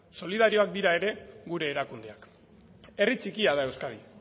solidarioak dira ere gure erakundeak herri txikia da euskadi